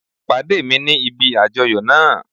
Pàdé mi ní ibi àjoyo náa